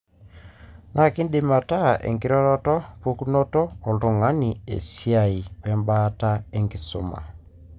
na kiindim ata, enkiroroto, pukunoto oltungani, esiai, we mbaata enkisuma.